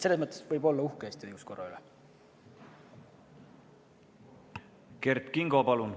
Selles mõttes võib Eesti õiguskorra üle uhke olla.